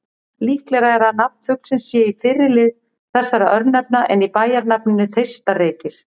Líklegra er að nafn fuglsins sé í fyrri lið þessara örnefna en í bæjarnafninu Þeistareykir.